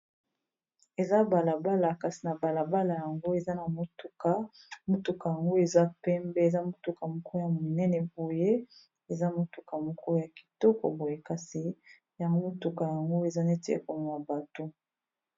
Eza balabala kasi na balabala yango eza na motuka motuka yango eza pembe eza motuka moko ya monene boye eza motuka moko ya kitoko boye kasi ya motuka yango eza neti ekomema bato.